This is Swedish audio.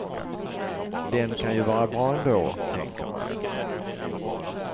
Den kan ju vara bra ändå, tänker man.